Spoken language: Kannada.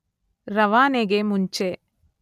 ರವಾನೆಗೆ ಮುಂಚೆ